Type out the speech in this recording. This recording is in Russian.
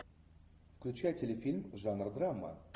включай телефильм жанр драма